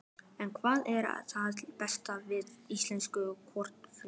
En hvað er það besta við íslensku kartöflurnar?